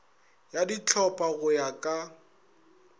ya dihlopha go ya ka